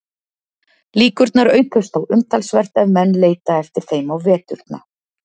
Líkurnar aukast þó umtalsvert ef menn leita eftir þeim á veturna.